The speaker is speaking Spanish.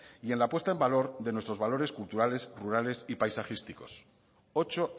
y en la puesta en valor de nuestros valores culturales rurales y paisajísticos ocho